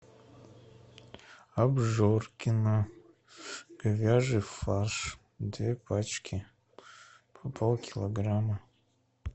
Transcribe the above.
обжоркино говяжий фарш две пачки по полкилограмма